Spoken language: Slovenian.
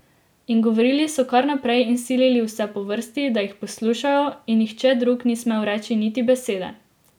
In govorili so kar naprej in silili vse po vrsti, da jih poslušajo, in nihče drug ni smel reči niti besede.